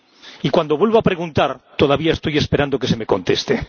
Y, cuando vuelvo a preguntar, todavía estoy esperando que se me conteste.